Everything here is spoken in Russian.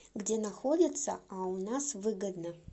где находится а у нас выгодно